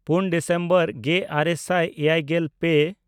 ᱯᱩᱱ ᱰᱤᱥᱮᱢᱵᱚᱨ ᱜᱮᱼᱟᱨᱮ ᱥᱟᱭ ᱮᱭᱟᱭᱜᱮᱞ ᱯᱮ